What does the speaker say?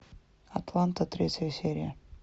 атланта третья серия